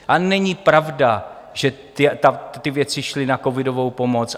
A není pravda, že ty věci šly na covidovou pomoc.